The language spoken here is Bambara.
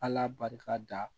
Ala barika da